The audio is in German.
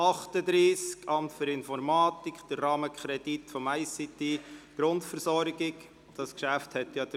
Es handelt sich um den Rahmenkredit für die ICTGrundversorgung für das Amt für Informatik und Organisation.